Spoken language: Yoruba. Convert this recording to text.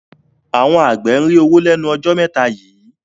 Àwọn àgbẹ̀ ń rí owó lọ́wọ́ lẹ́nu ọjọ́ mẹ́ta yìí